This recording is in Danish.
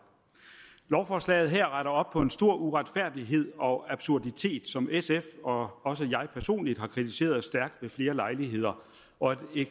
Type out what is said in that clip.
lovforslaget her retter op på en stor uretfærdighed og absurditet som sf og også jeg personligt har kritiseret stærkt ved flere lejligheder